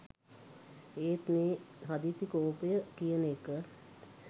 එත් මේ හදිසි කෝපය කියන එක